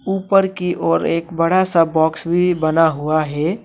ऊपर की ओर एक बड़ा सा बॉक्स भी बना हुआ है।